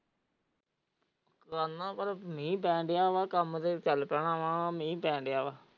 ਪਰ ਮੀਂਹ ਪੈਣ ਡਯਾ ਵਾ ਕੰਮ ਤੇ ਚੱਲ ਪੈਣਾ ਮੀਹ ਪੈਣ ਡਯਾ ਵਾ।